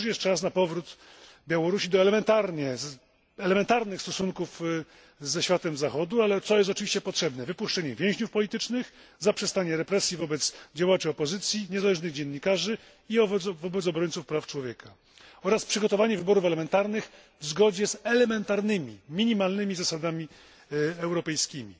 Wciąż jeszcze jest czas na powrót Białorusi do elementarnych stosunków ze światem Zachodu, ale co jest oczywiście potrzebne wypuszczenie więźniów politycznych, zaprzestanie represji wobec działaczy opozycji, niezależnych dziennikarzy i wobec obrońców praw człowieka oraz przygotowanie wyborów parlamentarnych w zgodzie z elementarnymi, minimalnymi zasadami europejskimi.